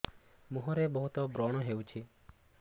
ମୁଁହରେ ବହୁତ ବ୍ରଣ ହଉଛି